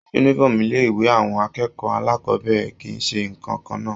Uniform ilé ìwé àwọn akẹ́kọ̀ọ́ alákọbẹ̀rẹ̀ kìí se ǹkankan náà.